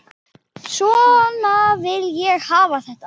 Svona vil ég hafa þetta.